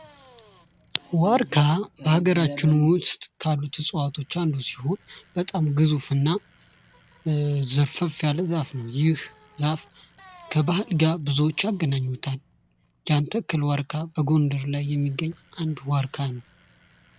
ዋርካ በሃገራችን ውስጥ ካሉት እጽዋቶች ውስጥ አንዱ ሲሆን በጣም ግዙፍና ዘርፈፍ ያለ ዛፍ ነው ይህ ዛፍ ከባል ጋር ብዙዎች ያገናኙታል። የአንድ ትልዋ ዋርካ በጎንደር ላይ የሚገኝ አንድ ዋርካ ነው።